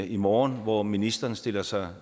i morgen hvor ministeren stiller sig